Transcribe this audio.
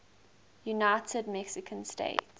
united mexican states